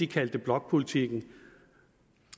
kalder blokpolitik